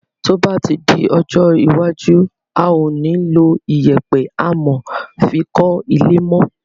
Tí o ba di ọjọ́ iwájú a o ni lọ iyèpe amò fi kọ ilé mo